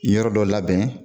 Yɔrɔ dɔ labɛn.